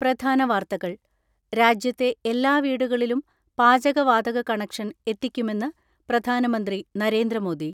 പ്രധാന വാർത്തകൾ രാജ്യത്തെ എല്ലാ വീടുകളിലും പാചക വാതക കണക്ഷൻ എത്തിക്കുമെന്ന് പ്രധാനമന്ത്രി നരേന്ദ്രമോദി.